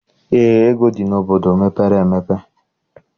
Eé, ego dị n'obodo mepere emepe.